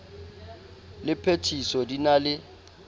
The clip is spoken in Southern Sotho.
le phethiso di na le